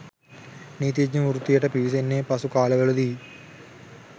නීතිඥ වෘත්තියට පිවිසෙන්නේ පසු කාලවලදීයි.